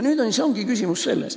Selles ongi see küsimus.